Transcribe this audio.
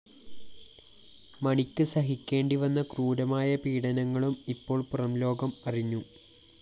മണിക്ക് സഹിക്കേണ്ടി വന്ന ക്രൂരമായ പീഢനങ്ങളും ഇപ്പോള്‍ പുറംലോകമറിഞ്ഞു